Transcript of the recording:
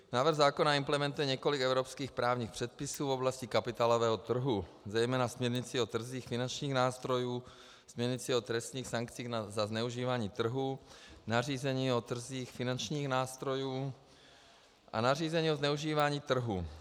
Návrh zákona implementuje několik evropských právních předpisů v oblasti kapitálového trhu, zejména směrnici o trzích finančních nástrojů, směrnici o trestních sankcích za zneužívání trhu, nařízení o trzích finančních nástrojů a nařízení o zneužívání trhu.